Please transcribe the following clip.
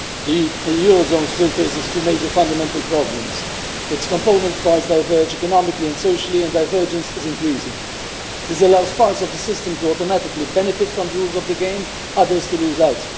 Madam President, the eurozone still faces two major fundamental problems its component parts diverge economically and socially, and divergence is increasing. This allows parts of the system to automatically benefit from the rules of the game and others to lose out.